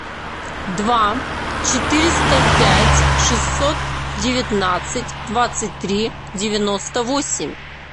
два четыреста пять шестьсот девятнадцать двадцать три девяносто восемь